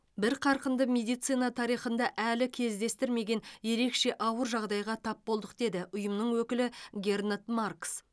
бір қарқынды медицина тарихында әлі кездестірмеген ерекше ауыр жағдайға тап болдық деді ұйымның өкілі гернот маркс